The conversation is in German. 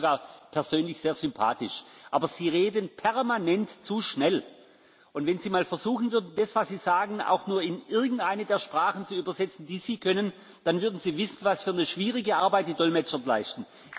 Ich finde Sie sogar persönlich sehr sympathisch. Aber Sie reden permanent zu schnell. Und wenn Sie einmal versuchen würden, das, was Sie sagen, auch nur in irgendeine der Sprachen zu übersetzen, die Sie können, dann würden Sie wissen, was für eine schwierige Arbeit die Dolmetscher leisten.